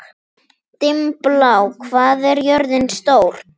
Dimmblá, hvað er jörðin stór?